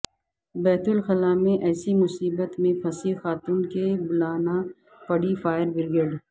بیت الخلا میں ایسی مصیبت میں پھنسی خاتون کہ بلانا پڑی فائر بریگیڈ